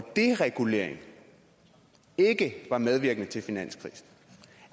deregulering ikke var medvirkende til finanskrisen